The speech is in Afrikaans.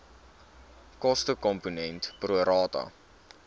kostekomponent pro rata